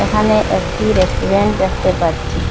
এখানে একটি রেস্টুরেন্ট দেখতে পাচ্ছি।